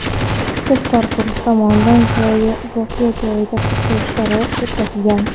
Tezkor guruh tomonidan voqea joyida qidiruv ishlari o‘tkazilgan.